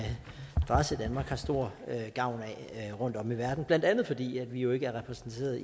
adresse i danmark har stor gavn af rundtom i verden blandt andet fordi vi jo ikke er repræsenteret